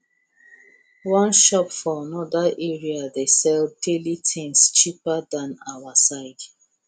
one shop for another area dey sell daily things cheaper than our side